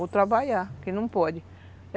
Ou trabalhar, que não pode.